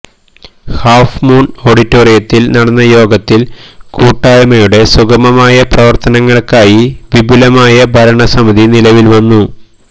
half moon ഓഡിറ്റോറിയത്തില് നടന്ന യോഗത്തില് കൂട്ടായ്മയുടെ സുഖമമായ പ്രവര്ത്തനങ്ങള്ക്കായി വിപുലമായ ഭരണസമിതി നിലവില് വന്നു